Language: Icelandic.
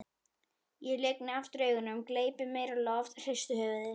Ég lygni aftur augunum, gleypi meira loft, hristi höfuðið.